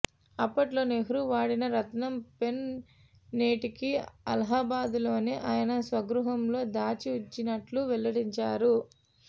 అప్పట్లో నెహ్రూ వాడిన రత్నం పెన్ నేటికీ అలహాబాద్లోని ఆయన స్వగృహంలో దాచి ఉంచినట్టు వెల్లడించారు